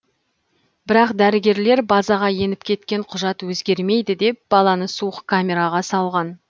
бірақ дәрігерлер базаға еніп кеткен құжат өзгермейді деп баланы суық камераға салған